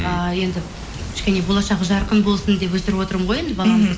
ааа енді кішкене болашағы жарқын болсын деп өсіріп отырмын ғой енді баламды